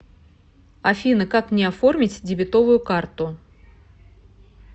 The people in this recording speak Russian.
афина как мне оформить дебетовую карту